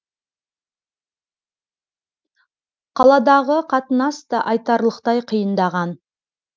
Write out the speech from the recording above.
қаладағы қатынас та айтарлықтай қиындаған